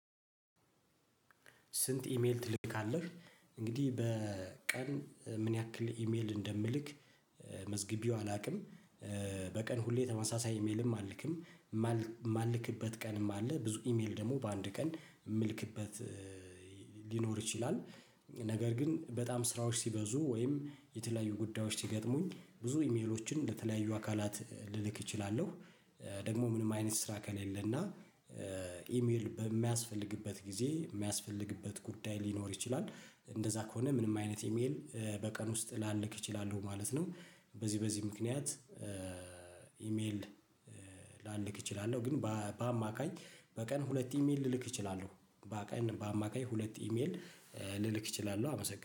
ስንት? ኢሜል ትልካለህ እንግዲህ በቀን ምን ያክል ኢሜል እንደምልክ መዝግቢው አላውቅም። በቀን ሁሌ ተመሳሳይ ኢሜልም አልልክም የማልክበት ቀንም አለ ብዙ ኢሜል ደግሞ በአንድ ቀን የምልክበት ሊኖር ይችላል። ነገር ግን በጣም ስራዎች ሲበዙ ወይም የተለያዩ ጉዳዮች ሲገጥሙኝ ብዙ ኢሜሎችን ለተለያዩ አካላት ልልክ እችላለሁ። ደግሞ ምንም አይነት ስራ ከሌለና ኢሜል በሚያስፈልግበት ጊዜ የሚያስፈልግበት ጉዳይ ሊኖር ይችላል እንደዛ ከሆነ ምንም አይነት ኢሜል በቀን ውስጥ ላለክ እችላለሁ ማለት ነው። በዚህ በዚህ ምክንያት ኢሜል ላልክ እችላለሁ ግን በአማካኝ በቀን ሁለት ኢሜል ልልክ እችላለሁ። በቀን በአማካኝ ሁለት ኢሜል ልልክ እችላለሁ። አመሰግናለሁ